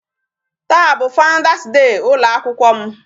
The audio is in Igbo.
Taa bụ Founders day ụlọ akwụkwọ m.